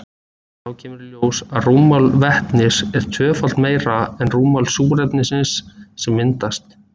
Þá kemur í ljós að rúmmál vetnisins er tvöfalt meira en rúmmál súrefnisins sem myndast.